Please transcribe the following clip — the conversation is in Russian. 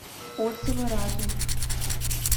отзывы разум